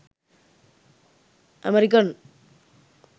american